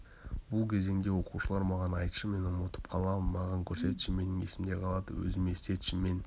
бұл кезеңде оқушылар маған айтшы мен ұмытып қаламын маған көрсетші менің есімде қалады өзіме істетші мен